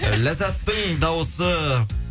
ләззаттың дауысы